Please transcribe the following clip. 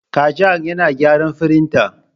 Kajang yana gyara firinta.